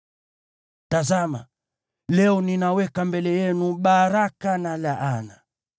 Tazama, leo ninaweka mbele yenu baraka na laana: